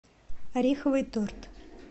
ореховый торт